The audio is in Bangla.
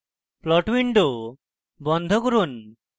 plot window বন্ধ করুন